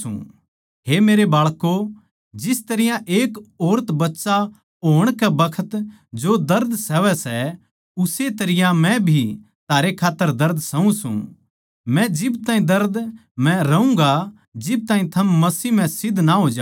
हे मेरे बाळकों जिस तरियां एक ओरत बच्चा होण कै बखत जो दर्द सहवै सै उस्से तरियां मै भी थारै खात्तर दर्द सहु सूं मै जिब ताहीं दर्द म्ह रहूँगा जिब ताहीं थम मसीह म्ह सिध्द ना हो जाओ